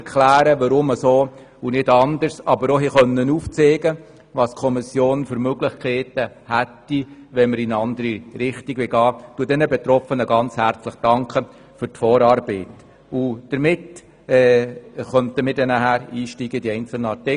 Sie erklärten uns die Herleitung und zeigten auf, welche Möglichkeiten die Kommission hätte, wenn wir in eine bestimmte Richtung gehen möchten.